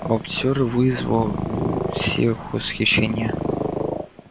боксёр вызвал у всех восхищение